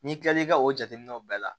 N'i kilal'i ka o jateminɛw bɛɛ la